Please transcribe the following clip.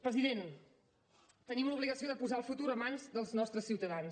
president tenim l’obligació de posar el futur en mans dels nostres ciutadans